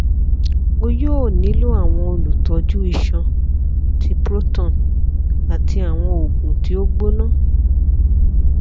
o yoo nilo àwọn olutọju iṣan ti proton ati awọn oogun ti o gbona